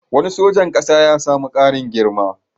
Wani sojan ƙasa ya sami ƙarin girma.